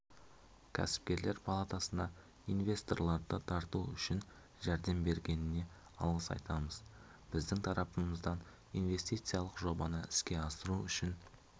кәсіпкелер палатасына инвесторларды тарту үшін жәрдем бергеніне алғыс айтамыз біздің тарапымыздан инвестициялық жобаны іске асыру үшін